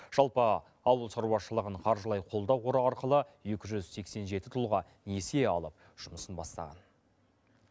жалпы ауыл шаруашылығын қаржылай қолдау қоры арқылы екі жүз сексен жеті тұлға несие алып жұмысын бастаған